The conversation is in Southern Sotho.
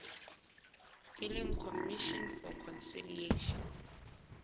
e leng commission for conciliation